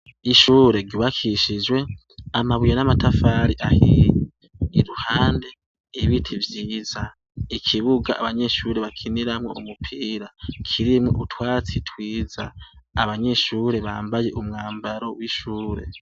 Ishure ryubakishijwe amabuye n'amatafari ahiye. Iruhande y'ibiti vyiza. Ikibuga abanyeshure bakiniramwo umupira kirimwo utwatsi twiza. Abanyeshure bambaye umwambaro w'ishure.